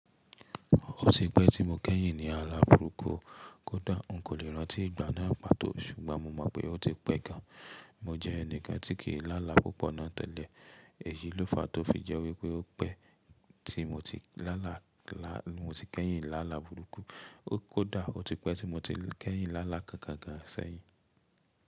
Ó ti pẹ́ tí mo ti kẹ́yìn lá ala burúkú kódà n kò lè rántí ìgbà náà pàtó ṣùgbọ́n mo mọ̀ pé ó ti pẹ́ gan. Mo jẹ́ ẹnìkan tí kì í lála púpọ̀ ná tẹ́lẹ̀ èyí ló fa tó fi jẹ́ wípé ó pẹ́ tí mo ti kẹ́yìn lála burúkú kódà ó ti pẹ́ tí mo ti kẹ́yìn lála kan kankan gan ṣẹ́yìn.